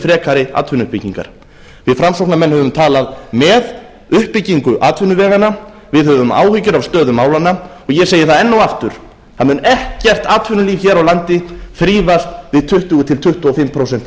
frekari atvinnuuppbyggingar við framsóknarmenn höfum talað með uppbyggingu atvinnuveganna við höfum áhyggjur af stöðu málanna og ég segi það enn og aftur það mun ekkert atvinnulíf hér á landi þrífast við tuttugu til tuttugu og fimm prósent